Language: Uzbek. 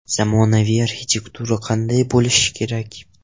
Zamonaviy arxitektura qanday bo‘lishi kerak?